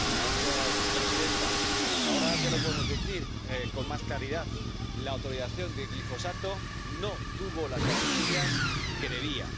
Señora presidenta, ahora ya lo podemos decir con más claridad la autorización de glifosato no tuvo las garantías que debía.